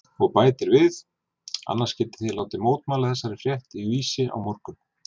Og bætir við: Annars getið þér látið mótmæla þessari frétt í Vísi á morgun.